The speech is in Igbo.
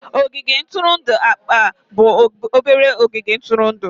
Ogige ntụrụndụ akpa bụ obere ogige ntụrụndụ.